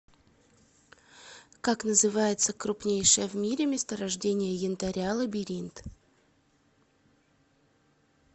как называется крупнейшее в мире месторождение янтаря лабиринт